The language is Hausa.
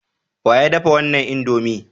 Wa ya dafa wannan indomie?